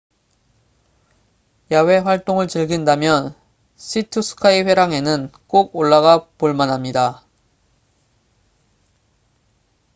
야외 활동을 즐긴다면 sea to sky 회랑에는 꼭 올라가 볼만합니다